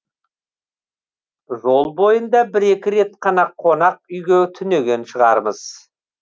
жол бойында бір екі рет қана қонақ үйге түнеген шығармыз